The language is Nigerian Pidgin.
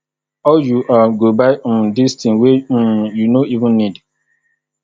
how you um go buy um dis thing wey um you you no even need